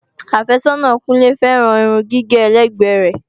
Àfẹ́sọ́nà Kúnlé féràn Irun gígé ẹlẹ́gbẹ́ rẹ.